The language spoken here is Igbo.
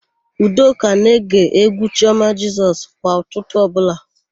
Udoka na-ege égwú Chiọma Jisọs kwa ụtụtụ ọbụla.